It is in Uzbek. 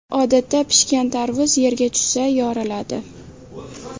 Odatda pishgan tarvuz yerga tushsa yoriladi.